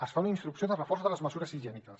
es fa una instrucció de reforç de les mesures higièniques